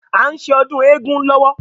À n ṣe ọdún éégún lọ́wọ́